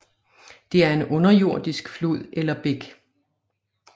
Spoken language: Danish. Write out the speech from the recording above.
Det er en underjordisk flod eller bæk